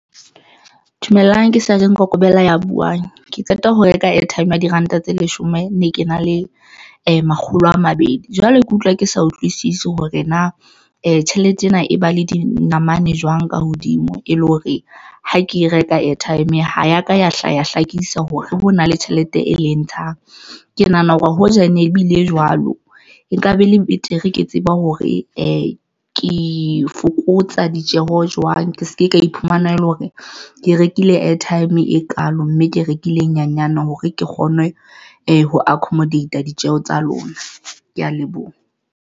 Dumelang ke Sergeant Kokobela ya buwang ke qeta ho reka airtime ya diranta tse leshome ne ke na le makgolo a mabedi, jwale, ke utlwa ke sa utlwisisi hore na tjhelete ena e ba le dinamane jwang ka hodimo e le hore ha ke e reka airtime ha ya ka ya hlaha, ya hlakisa hore hona le tjhelete e leng ntshang, ke nahana hore hoja ene ebile jwalo nkabe e le betere ke tseba hore ke fokotsa ditjeho jwang. Ke se ke ka iphumana ele hore ke rekile airtime e kalo mme ke rekile nyanyane hore ke kgone ho accomodate-a ditjeho tsa lona. Ke ya leboha.